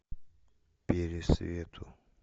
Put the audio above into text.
пересвету